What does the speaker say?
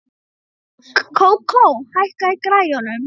Kókó, hækkaðu í græjunum.